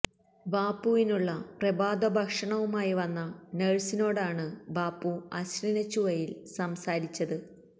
ബാപ്പുവിനുള്ള പ്രഭാത ഭക്ഷണവുമായി വന്ന നഴ്സിനോടാണ് ബാപ്പു അശ്ലീല ചുവയില് സംസാരിച്ചത്